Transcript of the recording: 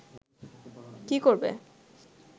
কী করবে